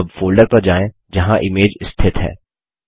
अब फोल्डर पर जाएँ जहाँ इमेज स्थित है